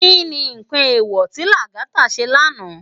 Ki ni nkán éwò ti Lagata sé lànå?